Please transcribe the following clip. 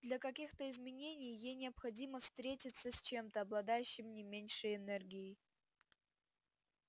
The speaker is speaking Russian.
для каких-то изменений ей необходимо встретиться с чем-то обладающим не меньшей энергией